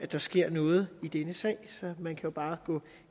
der sker noget i denne sag så man kan jo bare gå